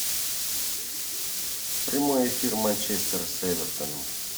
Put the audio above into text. прямой эфир манчестер с эвертоном